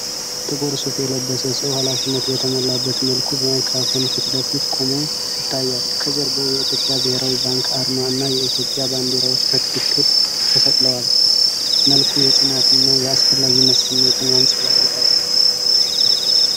ጥቁር ሱፍ የለበሰ ሰው፣ ኃላፊነት በተሞላበት መልኩ በማይክሮፎን ፊት ለፊት ቆሞ ይታያል። ከጀርባው የኢትዮጵያ ብሔራዊ ባንክ አርማ እና የኢትዮጵያ ባንዲራዎች በትክክል ተሰቅለዋል። መልኩ የጽናትና የአስፈላጊነት ስሜትን ያንጸባርቃል።